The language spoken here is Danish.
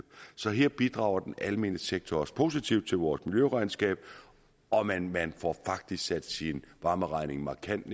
så her bidrager den almene sektor også positivt til vores miljøregnskab og man man får faktisk sat sin varmeregning markant